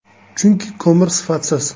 Chunki ko‘mir sifatsiz.